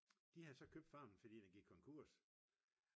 de havde så købt farmen fordi den gik konkurs